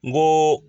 N ko